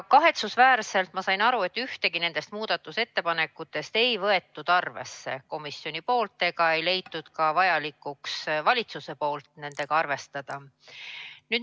Kahetsusväärselt, ma sain aru, ei võtnud komisjon ühtegi nendest muudatusettepanekutest arvesse ja ka valitsus ei pidanud vajalikuks neid arvestada.